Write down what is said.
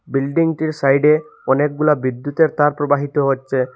বিল্ডিংটির সাইডে অনেকগুলা বিদ্যুতের তার প্রবাহিত হচ্ছে।